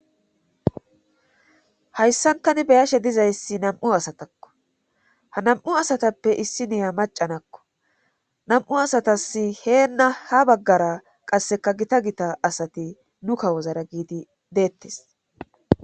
Hayssan tani be7ashe dizayssi nam7u asataakko ha nam7u asatappe issi iya macca naakko nam7u asati Heena ha baggara qasseka Gita Gita asati nu kawozara giigana giidi deetes